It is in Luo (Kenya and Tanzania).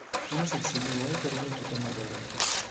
Innocent Simiyu: Waikore ne tuke mag Olimpik